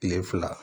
Kile fila